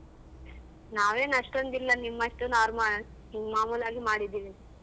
ನಾವೇನ್ ಅಷ್ಟೊಂದು ಇಲ್ಲ ನಿಮ್ಮಷ್ಟು normal ಮಾಮೂಲಾಗಿ ಮಾಡಿದ್ದೀವಿ.